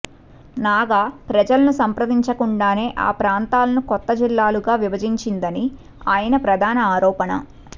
నాగా ప్రజలను సంప్రదించకుండానే ఆ ప్రాంతాలను కొత్త జిల్లాలుగా విభజించిందని ఆయన ప్రధాన ఆరోపణ